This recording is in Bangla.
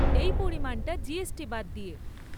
এই পরিমাণটা জিএসটি বাদ দিয়ে।